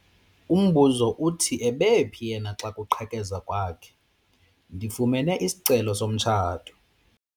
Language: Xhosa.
Umbuzo uthi ebephi yena xa kuqhekezwa kwakhe? ndifumene isicelo somtshato